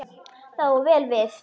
Það á vel við.